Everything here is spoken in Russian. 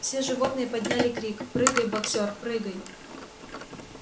все животные подняли крик прыгай боксёр прыгай